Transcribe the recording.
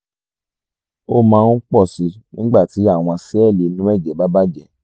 ó máa ń pọ̀ síi nígbà tí àwọn sẹ́ẹ̀lì inú ẹ̀jẹ̀ bá bàjẹ́